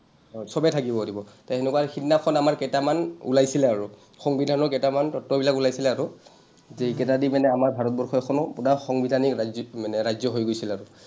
চবে থাকিব পাৰিব। তে হেনেকুৱা সিদিনাখন আমাৰ কেইটামান ওলাইছিলে আৰু। সংবিধানৰ কেইটামান তথ্যবিলাক ওলাইছিলে আৰু, যে এইকেইটা দি কেনে আমাৰ ভাৰতবৰ্ষখনো পোৰা সংবিধানিক ৰাজ্যিক মানে ৰাজ্য হৈ গৈছিল আৰু।